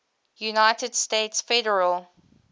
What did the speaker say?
united states federal